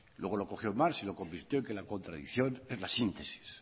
luego lo cogió marx y lo convirtió en que la contradicción es la síntesis